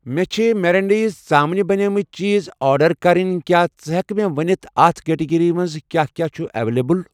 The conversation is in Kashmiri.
مےٚ چھ میرینیڈز, ژامنہِ بَنیمٕتؠ چیٖز آرڈر کرٕنۍ، کیٛاہ ژٕ ہٮ۪کہٕ مےٚ ونِتھ اَتھ کیٹگری منٛز کیٛاہ کیٛاہ چھ اویلیبل.